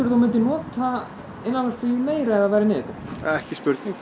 þú myndir nota innanlandsflugið meira ef það væri niðurgreitt ekki spurning